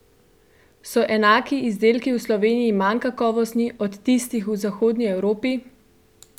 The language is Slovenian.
So enaki izdelki v Sloveniji manj kakovostni od tistih v zahodni Evropi?